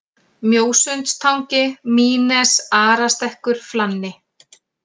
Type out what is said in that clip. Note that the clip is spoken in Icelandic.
Mjósundstangi, Mýnes, Arastekkur, Flanni